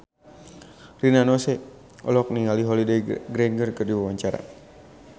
Rina Nose olohok ningali Holliday Grainger keur diwawancara